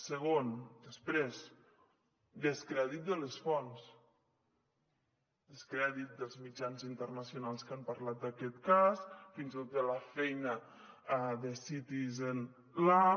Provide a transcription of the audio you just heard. segon després descrèdit de les fonts descrèdit dels mitjans internacionals que han parlat d’aquest cas fins i tot de la feina de citizen lab